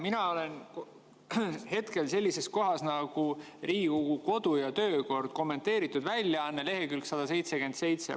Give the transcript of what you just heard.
Mina olen hetkel sellises kohas nagu Riigikogu kodu‑ ja töökorra kommenteeritud väljaande lehekülg 177.